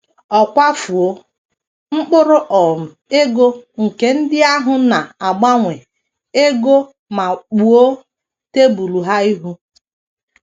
Ọ kwafuo mkpụrụ um ego nke ndị ahụ na - agbanwe ego ma kpuo tebụl ha ihu.